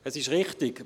Es ist richtig: